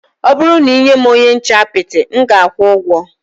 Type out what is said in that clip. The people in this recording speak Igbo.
Ọ bụrụ na ị nye m onye nche apịtị, m ga-akwụ ụgwọ